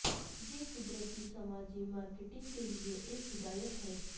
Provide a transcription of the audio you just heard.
یہ قدرتی سماجی مارکیٹنگ کے لئے ایک ہدایت ہے